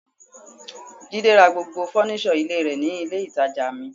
Jide ra gbogbo fọ́nísọ̀ ilé rẹ̀ ní ilé ìtàjà mi.